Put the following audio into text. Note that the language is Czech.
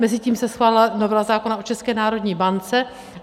Mezitím se schválila novela zákona o České národní bance.